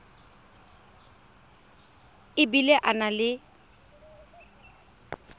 e bile a na le